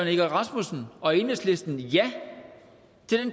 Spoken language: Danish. egge rasmussen og enhedslisten ja